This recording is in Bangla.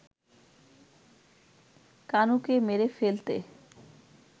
কানুকে মেরে ফেলতে